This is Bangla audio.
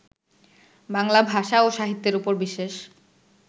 বাংলা ভাষা ও সাহিত্যের উপর বিশেষ